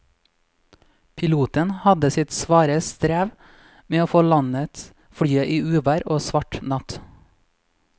Piloten hadde sitt svare strev med å få landet flyet i uvær og svart natt.